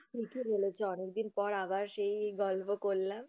ঠিকি বলেছো অনেকদিন পর আবার সেই গল্প করলাম।